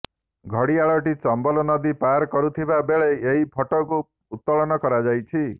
ଘଡିଆଳଟି ଚମ୍ବଲ ନଦୀ ପାର କରୁଥିବା ବେଳେ ଏହି ଫଟୋକୁ ଉତ୍ତୋଳନ କରାଯାଇଛି